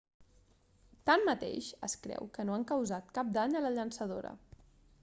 tanmateix es creu que no han causat cap dany a la llançadora